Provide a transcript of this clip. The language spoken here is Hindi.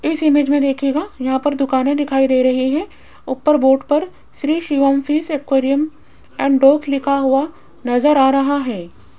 इस इमेज में देखियेगा यहां पर दुकाने दिखाई दे रही हैं ऊपर बोर्ड पर Shri Shivam fish aquarium and लिखा हुआ नजर आ रहा है।